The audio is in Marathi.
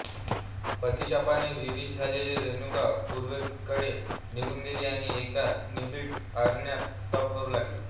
पतिशापाने विवश झालेली रेणुका पूर्वेकडे निघून गेली आणि एका निबिड अरण्यात तप करू लागली